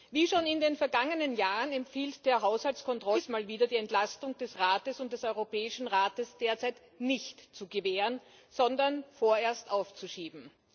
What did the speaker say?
Wie schon in den vergangenen Jahren empfiehlt der Haushaltskontrollausschuss auch diesmal wieder, die Entlastung des Rates und des Europäischen Rates derzeit nicht zu gewähren, sondern vorerst aufzuschieben.